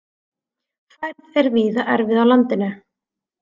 Færð er víða erfið á landinu